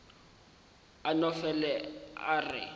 a no fele a re